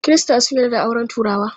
Kirista sun yarda da auren turawa.